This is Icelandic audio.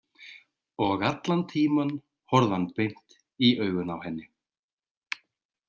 Og allan tímann horfði hann beint í augun á henni.